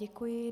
Děkuji.